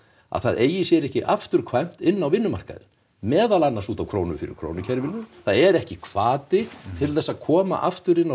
að það eigi sér ekki afturkvæmt inn á vinnumarkaðinn meðal annars út af krónu fyrir krónu kerfinu það er ekki hvati til þess að koma aftur inn á